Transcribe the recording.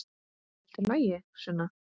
Er allt í lagi, Sunna?